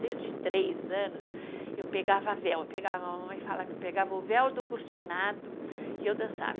Desde três anos, eu pegava véu, pegava, a mamãe fala que eu pegava o véu do cortinado e eu dançava.